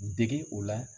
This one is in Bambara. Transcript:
Dege o la